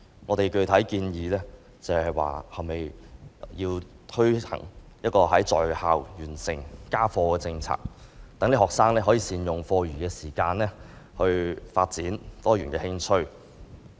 我們具體建議推行"在校完成家課"的政策，讓學生能善用課餘時間發展多元興趣。